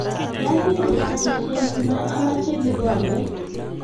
Ki asir tajisiek nguno amache kikombet.